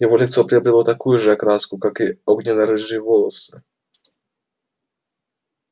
его лицо приобрело такую же окраску как и огненно-рыжие волосы